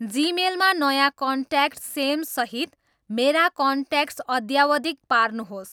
जीमेलमा नयाँ कन्ट्याक्ट सेमसहित मेरा कन्ट्याक्ट्स अध्यावधिक पार्नुहोस्